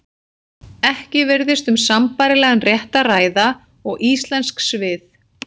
Ekki virðist um sambærilegan rétt að ræða og íslensk svið.